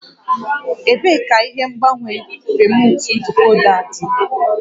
Ebee ka ihe ngbanwe remuutu dikoda dị?